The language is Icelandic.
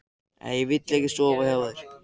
Nei, ég vil ekki sofa hjá þér.